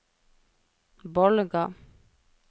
Bolga